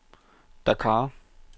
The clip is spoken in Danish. Dakar